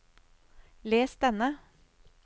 les denne